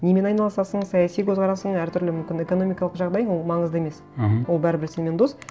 немен айналысасың саяси көзқарасың әртүрлі мүмкін экономикалық жағдай ол маңызды емес мхм ол бәрібір сенімен дос